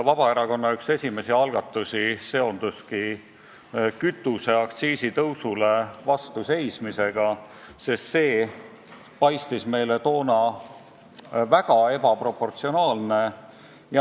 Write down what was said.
Vabaerakonna üks esimesi algatusi seonduski kütuseaktsiisi tõusule vastu seismisega, sest see paistis meile toona väga ebaproportsionaalne.